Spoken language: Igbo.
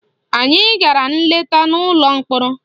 Anyị gara nleta n'ụlọ mkpọrọ